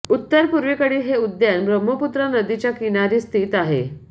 उत्तर पूर्वेकडील हे उद्यान ब्रह्मपुत्रा नदीच्या किनारी स्थित आहे